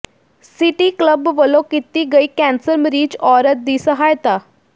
city club ਵੱਲੋਂ ਕੀਤੀ ਗਈ ਕੈਂਸਰ ਮਰੀਜ਼ ਔਰਤ ਦੀ ਸਹਾਇਤਾ